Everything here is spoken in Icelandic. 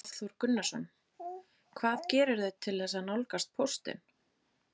Hafþór Gunnarsson: Hvað gerirðu til þess að nálgast póstinn?